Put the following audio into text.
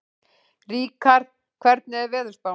Ríkharð, hvernig er veðurspáin?